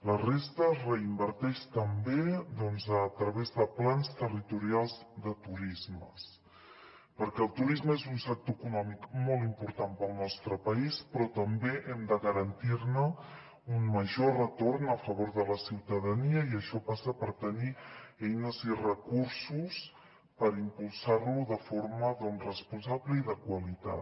la resta es reinverteix també doncs a través de plans territorials de turisme perquè el turisme és un sector econòmic molt important per al nostre país però també hem de garantir ne un major retorn a favor de la ciutadania i això passa per tenir eines i recursos per impulsar lo de forma responsable i de qualitat